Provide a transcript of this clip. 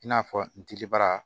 I n'a fɔ n dilibara